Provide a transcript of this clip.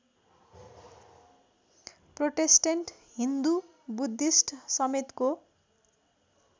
Protestant Hindu बुद्धिस्टसमेतको